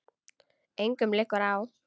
Engum liggur á.